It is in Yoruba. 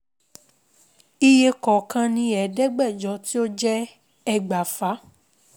Iye kọ̀ọ̀kan ní ẹ̀ẹ́dẹ́gbẹ̀jọ tí ó jẹ́ ẹgbàáfà